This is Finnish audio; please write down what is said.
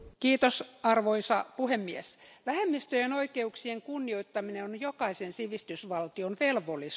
Arvoisa puhemies, vähemmistöjen oikeuksien kunnioittaminen on jokaisen sivistysvaltion velvollisuus.